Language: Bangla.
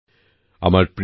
নয়াদিল্লি ২৬ জুন ২০২২